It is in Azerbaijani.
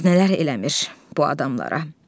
Dərd nələr eləmir bu adamlara.